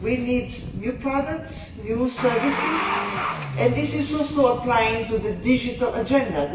We need new products and new services, and this also applies to the Digital Agenda.